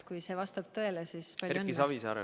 Kui see vastab tõele, siis palju õnne!